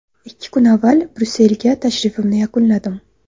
Ikki kun avval Bryusselga tashrifimni yakunladim.